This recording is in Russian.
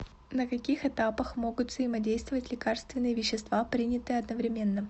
на каких этапах могут взаимодействовать лекарственные вещества принятые одновременно